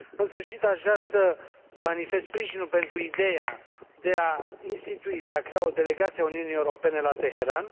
În sfârșit, aș vrea să manifest sprijinul pentru ideea de a institui, de a crea o Delegație a Uniunii Europene la Teheran